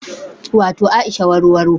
Wato Aisha warowaro